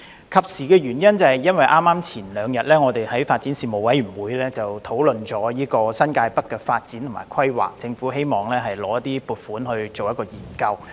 及時是因為我們3天前剛在發展事務委員會的會議上，討論新界北的發展和規劃，而政府希望申請撥款進行研究。